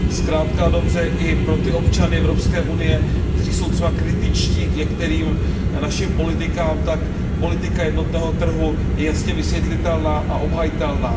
Zkrátka a dobře i pro ty občany EU, kteří jsou třeba kritičtí k některým našim politikám, tak politika jednotného trhu je jasně vysvětlitelná a obhajitelná.